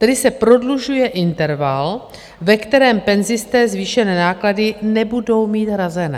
Tedy se prodlužuje interval, ve kterém penzisté zvýšené náklady nebudou mít hrazené.